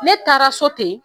Ne taara so ten